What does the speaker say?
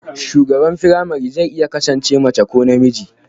shugaban firamare zai iya kasance mace ko namiji